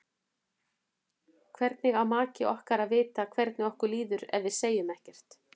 Hvernig á maki okkar að vita hvernig okkur líður ef við segjum ekkert?